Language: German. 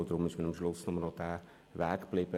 Deshalb habe ich schliesslich diesen Weg gewählt.